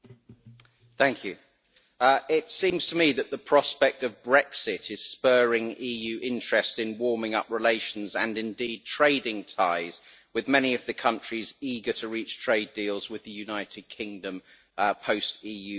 Mr President, it seems to me that the prospect of Brexit is spurring EU interest in warming up relations, and indeed trading ties, with many of the countries eager to reach trade deals with the United Kingdom after its departure.